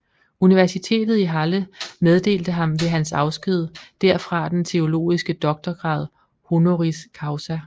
Universitetet i Halle meddelte ham ved hans afsked derfra den teologiske doktorgrad honoris causa